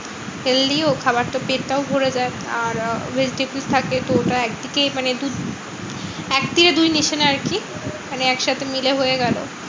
healthy ও খাবারটা পেটটাও ভরে যায়। আর আহ দুধ থাকে তো ওটা একদিকে মানে দুধ এক থেকে দুই নিশান আরকি। মানে একসাথে মিলে হয়ে গেলো।